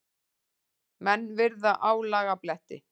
Menn virða álagabletti.